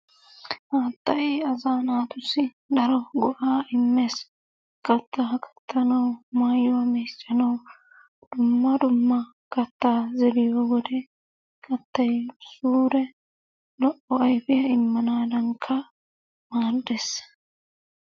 Haattay asaa naatussi daro go'aa immees. Kattaa kattanawu mayuwa meeccanawu dumma dumma kattaa zeriyo wode kattay suure lo'o ayifiya immanaadankka maaddes.